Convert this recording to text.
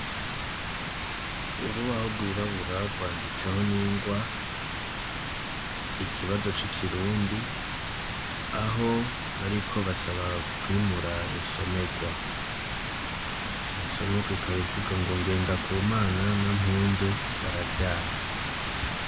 Urubaho rwirabura rwanditseho n'ingwa, ikibazo c'ikirundi, aho bariko basaba kwimura insomerwa; insomerwa ikaba ivuga ngo :" Ngendakumana na Mpundu bararyamye ".